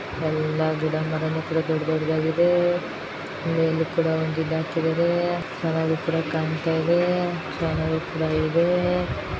ಎಲ್ಲ ಗಿಡ ಮರ ದೊಡ್ಡದೋಡ್ಡದಾಗಿದೆ ಮೇಲು ಕೂಡ ಒಂದು ಇದಕಿದರೆ ಚೆನ್ನಾಗಿ ಕೂಡ ಕಾಣ್ತಾಇದೆ ಚೆನ್ನಾಗಿ ಕೂಡ ಇದೆ.